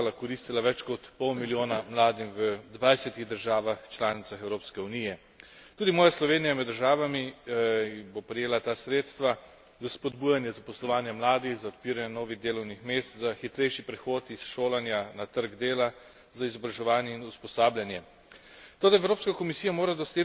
Ta sredstva bodo zelo pomagala, koristila več kot pol milijona mladim v dvajsetih državah članicah Evropske unije. Tudi moja Slovenija je med državami, ki bo prejela ta sredstva za spodbujanje zaposlovanja mladih, za odpiranje novih delovnih mest, za hitrejši prehod iz šolanja na trg dela, za izobraževanje in usposabljanje.